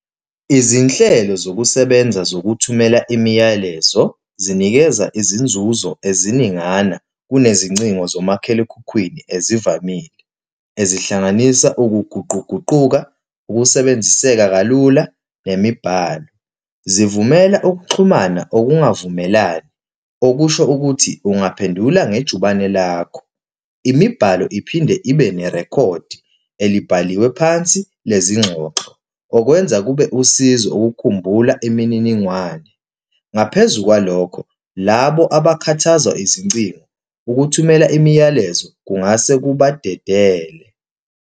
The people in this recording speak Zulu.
Izinhlelo zokusebenza zokuthumela imiyalezo zinikeza izinzuzo eziningana, kunezingcingo nomakhalekhukhwini ezivamile, ezihlanganisa ukuguquguquka, ukusebenziseka kalula, nemibhalo. Zivumela ukuxhumana okungavumelani, okusho ukuthi, ungaphendulanga ngejubane lakho. Imibhalo iphinde ibe nerekhodi elibhaliwe phansi lezingxoxo, okwenza kube usizo ukukhumbula imininingwane. Ngaphezu kwalokho, labo abakhuthazwa izincingo, ukuthumela imiyalezo kungase kubadedele.